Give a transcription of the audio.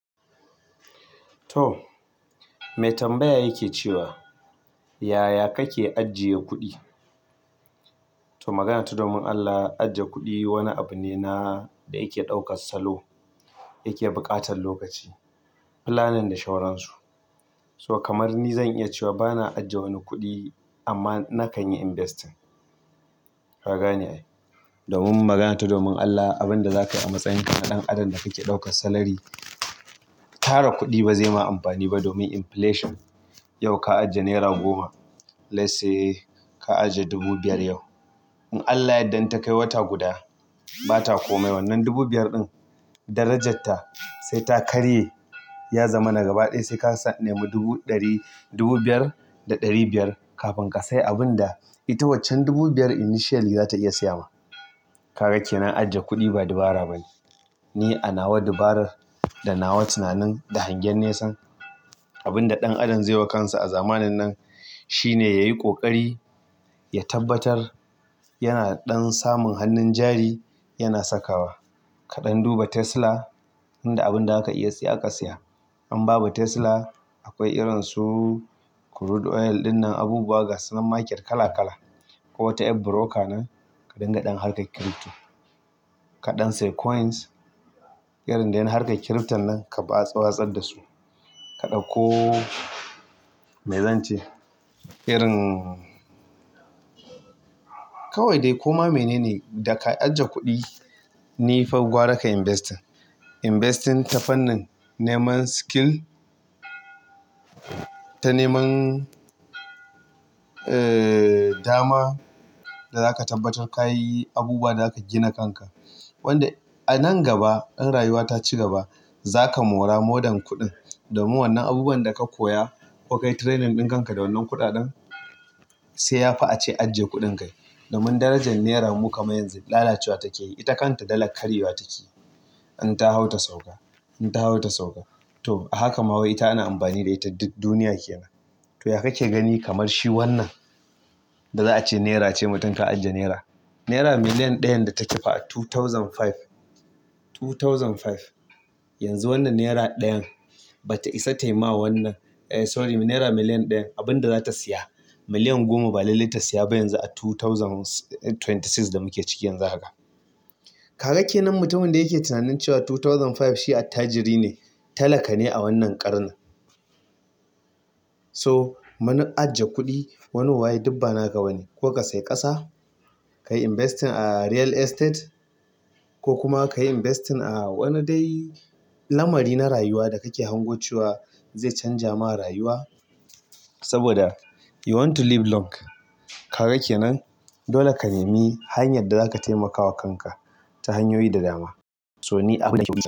To, me tambaya yake cewa yaya kake ajiye kuɗi? To magana ta domin Allah ajiye kuɗi wani abune da na da yake ɗaukar salo da yake buƙatar lokaci planning da sauransu so kamar ni zan iya cewa bana ajiye wani kuɗi amma na kan yi invest. Kaga ne ai. Domin magana ta domin Allah, abin da zaka yi a matsayin ka ɗan adam da kake ɗaukar salary, tara kuɗi ba zai ma amfani ba domin inflation. Yau ka ajiye naira goma, let's say ka ajiye dubu biyar yau. In Allah ya danta kai wata guda bata komai. Wannan dubu biyar din darajarta sai ta karye, ya zamana gaba ɗaya sai ka nemi dubu ɗari, dubu biyar da ɗari biyar kafin ka sai abun da ita waccan dubu biyar initially za ta iya siya ma. Kaga kenan ajiye kuɗi ba dabara ba ne. Ne a nawa dabara da nawa tunanin da hangen nesa. Abin da ɗan adam zai wa kansa a zamanin nan shine yayi ƙoƙari, ya tabbatar yana ɗan samun hannun jari yana sakawa. Kaɗan duba Tesla, inda abinda zaka iya siya ka siya. In babu Tesla, akwai irin su crude oil ɗin nan, abubuwa gasu nan market kala-kala. Ko wata ƴar broker nan. Ka dinga ɗan harkar crypto kaɗan sayi coins irin dai na harkar crypto nan ka watsar dasu kaɗau ko me zance, irin kawai dai koma menene daka ajiye kuɗi n fa gwara ka yi investing. Investing ta fannin neman skill, ta neman dama da zaka tabbatar kayi abubuwa da zaka gina kanka. Wanda a nan gaba ɗan rayuwa ta cigaba, zaka mora more than kuɗin. Domin wannan abubuwan daka koya ko kayi training ɗin kanka da wannan kuɗaɗen, sai yafi ace ajiye kuɗin kai. Domin darajar nera mu kamar yanzu lalacewa take yi, ita kanta dala karyewa take yi. In ta hau ta sauka, in ta hau ta sauka. To a haka ma wai ita ana amfani da ita duk duniya ke nan. To ya kake gani kamar shi wannan da za'ace naira ce mutum ka ajiye naira naira miliyan ɗayan da take fa a dubu biyu da biyar yanzu wannan naira ɗayan bata isa tayi ma wannan, eh sorry naira miliyan ɗayan abun da zata siya, miliyan goma ba lalle ta siya ba yanzu a dubu biyu da ashirin da shida da muke ciki yanzu haka. Kaga kenan mutumin da yake tunanin cewa dubu biyu da biyar shi attajiri ne, talaka ne a wannan ƙarnin. So, muna ajiye kuɗi wani waye dubba naka wani. Ko ka sayi ƙasa, ka yi investing a real estate ko kuma kayi investing a wani dai lamari na rayuwa da kake hango cewa zai canza ma rayuwa. Saboda you want to live long. Kaga kenan dole ka nemi hanyar da zaka taimakawa kanka ta hanyoyi da dama. So ni abun nake.